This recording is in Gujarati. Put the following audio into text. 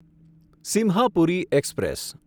સિમ્હાપુરી એક્સપ્રેસ